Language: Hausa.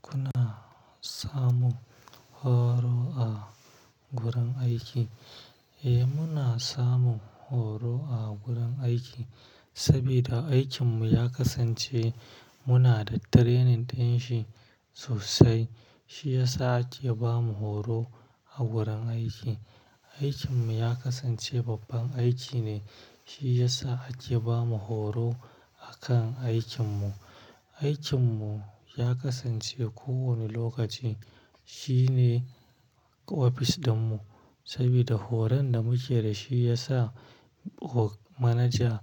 Kuna samun horo a gurin aiki? Eh, muna samun horo a gurin aiki saboda aikinmu ya kasance muna da training ɗin shi sosai. Shi ya sa ake bamu horo a gurin aiki. Aikinmu ya kasance babban aiki ne, shi ya sa ake bamu horo a kan aikinmu. Aikinmu ya kasance kowane lokaci shine ofis ɗinmu saboda horon da muke da shi ya sa manaja